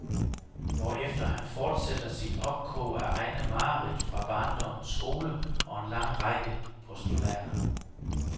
Hvorefter han fortsætter sit opkog af egne mareridt fra barndommens skole og en lang række postulater.